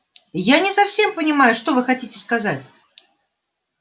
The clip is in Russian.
я не совсем понимаю что вы хотите сказать